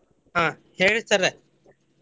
ಹಾ ಹೇಳಿ sir ?